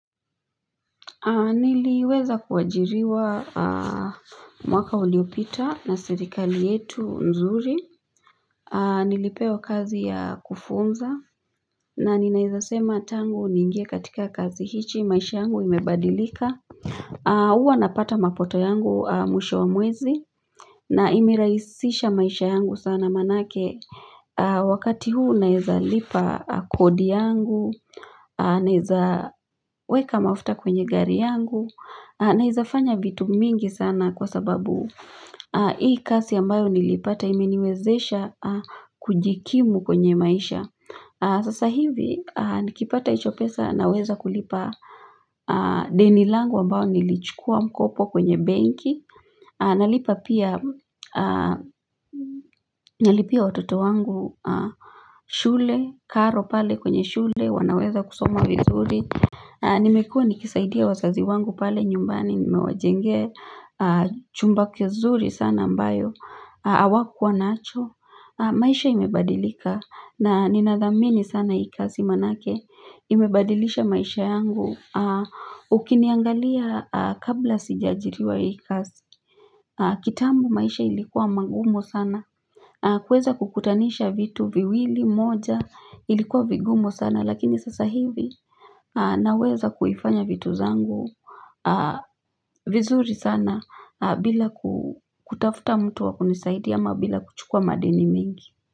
Niliweza kuajiriwa mwaka uliopita na serikali yetu nzuri Nilipewa kazi ya kufunza na ninaweza sema tangu niingie katika kazi hii maisha yangu imebadilika huwa napata mapato yangu mwisho wa mwezi na imerahisisha maisha yangu sana manake Wakati huu naweza lipa kodi yangu Naweza weka mafuta kwenye gari yangu Naweza fanya vitu mingi sana kwa sababu Hii kazi ambayo nilipata imeniwezesha kujikimu kwenye maisha Sasa hivi nikipata hizo pesa naweza kulipa deni langu ambayo nilichukua mkopo kwenye benki Nalipa pia nalipia watoto wangu shule, karo pale kwenye shule, wanaweza kusoma vizuri Nimekuwa nikisaidia wazazi wangu pale nyumbani, nimewajenga chumba kizuri sana ambayo, hawakuwa nacho maisha imebadilika na nina dhamini sana hii kazi manake, imebadilisha maisha yangu Ukiniangalia kabla sija ajiriwa hii kazi, kitambo maisha ilikuwa mangumu sana kuweza kukutanisha vitu viwili moja ilikuwa vigumu sana lakini sasa hivi naweza kufanya vitu zangu vizuri sana bila kutafuta mtu wakunisaidia ama bila kuchukua madeni mingi.